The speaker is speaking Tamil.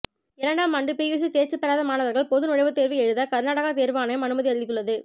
இரண்டாமாண்டு பியூசி தேர்ச்சி பெறாத மாணவர்கள் பொது நுழைவுத்தேர்வு எழுத கர்நாடக தேர்வு ஆணையம் அனுமதி அளித்துள்ளது